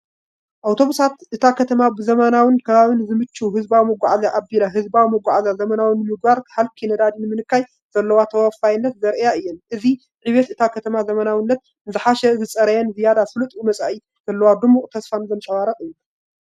ኣውቶቡሳት፡- እታ ከተማ ብዘመናዊን ንከባቢ ዝምችእን ህዝባዊ መጓዓዝያ ኣቢላ ህዝባዊ መጓዓዝያ ዘመናዊ ንምግባርን ሃልኪ ነዳዲ ንምንካይን ዘለዋ ተወፋይነት ዘርእያ እየን። እዚ ዕብየት እታ ከተማ ዘመናዊነትን ንዝሓሸን ዝጸረየን ዝያዳ ስሉጥን መጻኢ ዘለዋ ድሙቕ ተስፋን ዘንጸባርቕ እዩ።